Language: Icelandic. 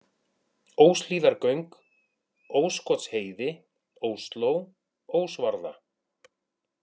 Óshlíðargöng, Óskotsheiði, Ósló, Ósvarða